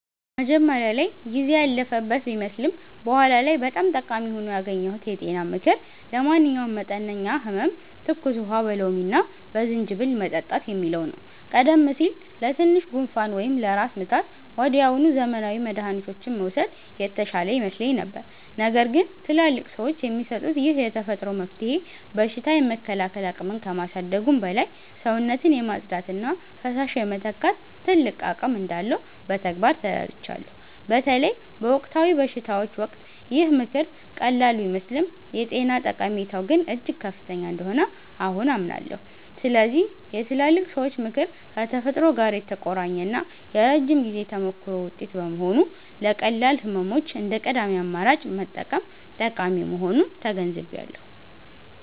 መጀመሪያ ላይ ጊዜ ያለፈበት ቢመስልም በኋላ ላይ በጣም ጠቃሚ ሆኖ ያገኘሁት የጤና ምክር 'ለማንኛውም መጠነኛ ህመም ትኩስ ውሃ በሎሚና በዝንጅብል መጠጣት' የሚለው ነው። ቀደም ሲል ለትንሽ ጉንፋን ወይም ለራስ ምታት ወዲያውኑ ዘመናዊ መድኃኒቶችን መውሰድ የተሻለ ይመስለኝ ነበር። ነገር ግን ትላልቅ ሰዎች የሚሰጡት ይህ የተፈጥሮ መፍትሄ በሽታ የመከላከል አቅምን ከማሳደጉም በላይ፣ ሰውነትን የማጽዳትና ፈሳሽ የመተካት ትልቅ አቅም እንዳለው በተግባር ተረድቻለሁ። በተለይ በወቅታዊ በሽታዎች ወቅት ይህ ምክር ቀላል ቢመስልም የጤና ጠቀሜታው ግን እጅግ ከፍተኛ እንደሆነ አሁን አምናለሁ። ስለዚህ የትላልቅ ሰዎች ምክር ከተፈጥሮ ጋር የተቆራኘና የረጅም ጊዜ ተሞክሮ ውጤት በመሆኑ፣ ለቀላል ህመሞች እንደ ቀዳሚ አማራጭ መጠቀም ጠቃሚ መሆኑን ተገንዝቤያለሁ።